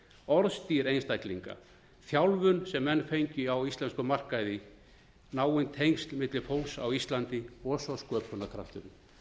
orðstír einstaklinga þjálfun sem menn fengju á íslenskum markaði náin tengsl milli fólks á íslandi og svo sköpunarkrafturinn